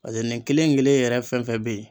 Pase nin kelen kelen yɛrɛ fɛn fɛn be yen